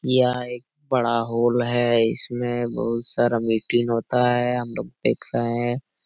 यह एक बड़ा हॉल है इसमें बहुत सारा मीटिंग होता हैहम लोग देख रहे हैं।